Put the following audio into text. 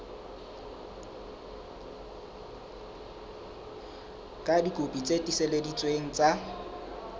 ka dikopi tse tiiseleditsweng tsa